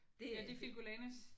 Det